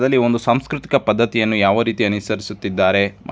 ಬನ್ನಿ ಒಂದು ಸಾಂಸ್ಕೃತಿಕ ಪದ್ಧತಿಯನ್ನು ಯಾವ ರೀತಿ ಅನಿಸರಿಸುತಿದ್ದಾರೆ ಮ --